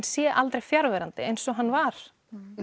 sé aldrei fjarverandi eins og hann var